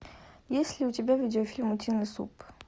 есть ли у тебя видеофильм утиный суп